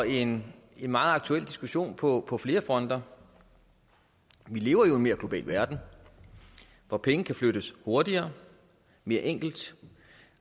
en meget aktuel diskussion på på flere fronter vi lever i en mere global verden hvor penge kan flyttes hurtigere mere enkelt